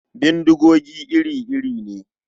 Bindigogi iri-iri ne.